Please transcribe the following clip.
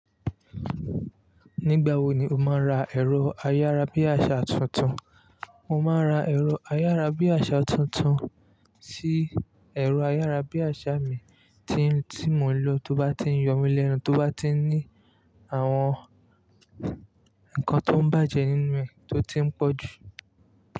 Nígbà wo ni o máa n ra ẹ̀rọ ayárabíàṣá tuntun? Mo máa ra ẹ̀rọ ayárabíàṣá tuntun sí ẹ̀rọ ayárabíàṣá mi tí, tí mò ń lò tó bá ti ń yọ mí lẹ́nu, tó bá ti ní àwọn nǹkan tó ń bàjẹ́ nínú rẹ̀ tó ti ń pọ̀jù.